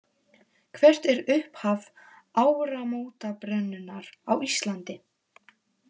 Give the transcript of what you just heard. Hvert er upphaf áramótabrennunnar á Íslandi?